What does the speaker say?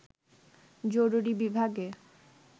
জরুরি বিভাগে